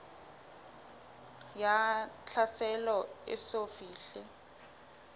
ya tlhaselo e eso fihle